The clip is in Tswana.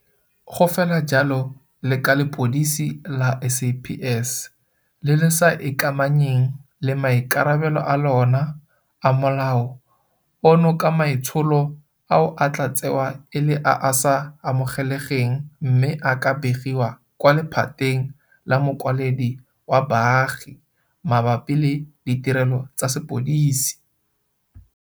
Go fela jalo le ka lepodisi la SAPS le le sa ikamanyeng le maikarabelo a lona a Molao ono ka maitsholo ao a tla tsewa e le a a sa amogelegeng mme a ka begiwa kwa Lephateng la Mokwaledi wa Baagi Mabapi le Ditirelo tsa Sepodisi.